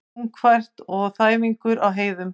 Þungfært og þæfingur á heiðum